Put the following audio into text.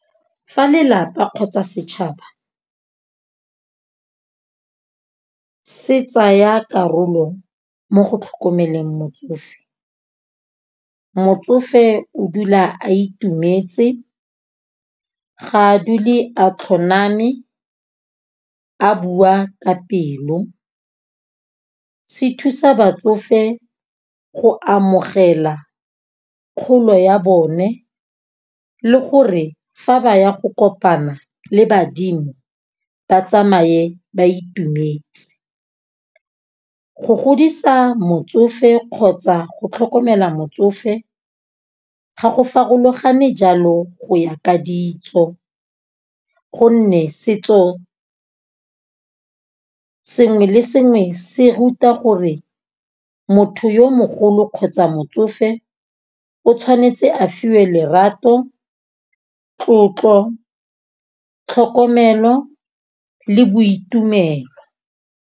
Fa lelapa kgotsa setšhaba se tsaya karolo mo go tlhokomeleng motsofe, motsofe o dula a itumetse ga a dule a tlhoname a bua ka pelo. Se thusa batsofe go amogela kgolo ya bone le gore fa ba ya go kopana le badimo ba tsamaye ba itumetse. Go godisa motsofe kgotsa go tlhokomela motsofe, ga go farologane jalo go ya ka ditso. Gonne setso sengwe le sengwe se ruta gore, motho yo mogolo kgotsa motsofe o tshwanetse a fiwe lerato, tlotlo tlhokomelo le boitumelo.